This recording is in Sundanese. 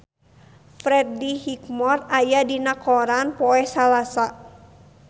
Freddie Highmore aya dina koran poe Salasa